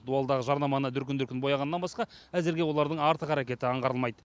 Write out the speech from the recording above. дуалдағы жарнаманы дүркін дүркін бояғаннан басқа әзірге олардың артық әрекеті аңғарылмайды